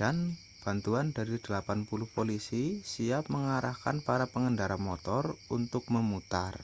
dan bantuan dari 80 polisi siap mengarahkan para pengendara motor untuk memutar